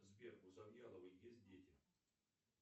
сбер у завьяловой есть дети